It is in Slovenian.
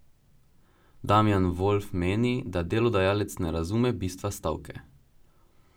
Damjan Volf meni, da delodajalec ne razume bistva stavke.